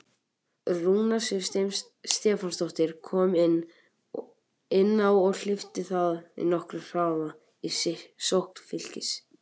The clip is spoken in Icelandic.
Rúna Sif Stefánsdóttir kom inn á og hleypti það þó nokkrum hraða í sókn Fylkis.